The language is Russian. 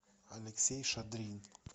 алексей шадрин